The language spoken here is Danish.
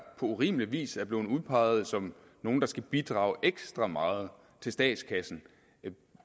urimelig vis er blevet udpeget som nogle der skal bidrage ekstra meget til statskassen